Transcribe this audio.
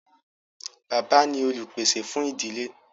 Bàbá ni olùpèsè fún ìdílé.